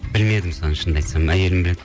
білмедім соны шыны айтсам әйелім біледі